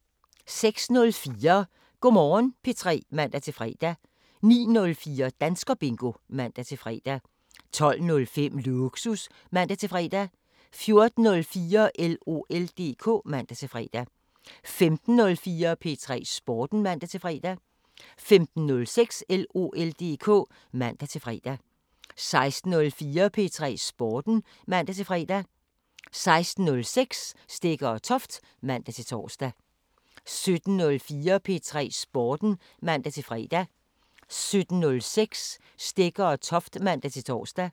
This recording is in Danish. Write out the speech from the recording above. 06:04: Go' Morgen P3 (man-fre) 09:04: Danskerbingo (man-fre) 12:05: Lågsus (man-fre) 14:04: LOL DK (man-fre) 15:04: P3 Sporten (man-fre) 15:06: LOL DK (man-fre) 16:04: P3 Sporten (man-fre) 16:06: Stegger & Toft (man-tor) 17:04: P3 Sporten (man-fre) 17:06: Stegger & Toft (man-tor)